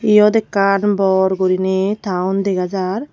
iyot ekkan bor guriney town dega jar.